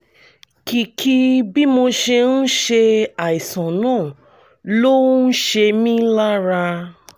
kìkì bí mo ṣe ń ṣe àìsàn náà ló ń ṣe mí lára